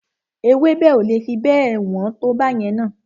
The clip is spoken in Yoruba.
Ewébẹ̀ o le fi bẹ́ẹ̀ wọ́n tó báyẹn na.